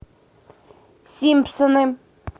симпсоны